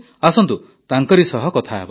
ଆସନ୍ତୁ ତାଙ୍କରି ସହ କଥା ହେବା